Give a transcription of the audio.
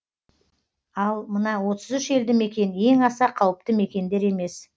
ал мына отыз үш елді мекен ең аса қауіпті мекендер емес